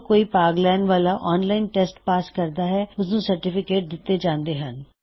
ਜੋ ਕੋਈ ਭਾਗ ਲੈਨ ਵਾਲਾ ਔਨਲਾਇਨ ਟੈਸਟ ਪਾਸ ਕਰਦਾ ਹੈ ਉਸਨੂੰ ਸਰਟੀਫਿਕੇਟ ਦਿੱਤੇ ਜਾਂਦੇ ਹਨ